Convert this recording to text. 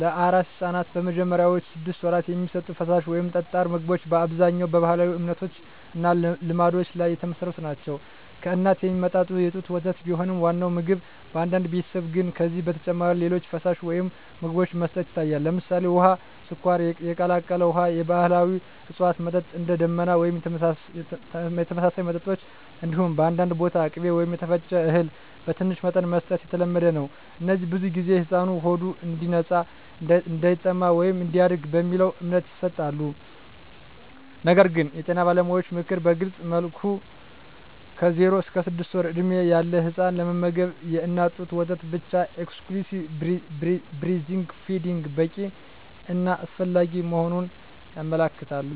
ለአራስ ሕፃናት በመጀመሪያዎቹ ስድስት ወራት የሚሰጡ ፈሳሽ ወይም ጠጣር ምግቦች በአብዛኛው በባህላዊ እምነቶች እና ልማዶች ላይ የተመሠረቱ ናቸው። ከእናት የሚመጣ የጡት ወተት ቢሆንም ዋናው ምግብ፣ በአንዳንድ ቤተሰቦች ግን ከዚህ በተጨማሪ ሌሎች ፈሳሾች ወይም ምግቦች መስጠት ይታያል። ለምሳሌ፣ ውሃ፣ ስኳር የቀላቀለ ውሃ፣ የባህላዊ እፅዋት መጠጥ (እንደ “ደመና” ወይም የተመሳሳይ መጠጦች)፣ እንዲሁም በአንዳንድ ቦታ ቅቤ ወይም የተፈጨ እህል በትንሽ መጠን መስጠት የተለመደ ነው። እነዚህ ብዙ ጊዜ “ሕፃኑ ሆዱ እንዲነጻ”፣ “እንዳይጠማ” ወይም “እንዲያድግ” በሚለው እምነት ይሰጣሉ። ነገር ግን የጤና ባለሙያዎች ምክር በግልፅ መልኩ ከ0–6 ወር ዕድሜ ያለ ሕፃን ለመመገብ የእናት ጡት ወተት ብቻ (exclusive breastfeeding) በቂ እና አስፈላጊ መሆኑን ያመለክታሉ።